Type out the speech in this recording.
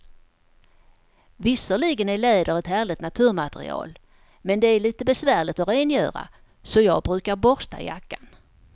Visserligen är läder ett härligt naturmaterial, men det är lite besvärligt att rengöra, så jag brukar borsta jackan.